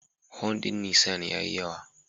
Horn din Nissan ya yi yawa.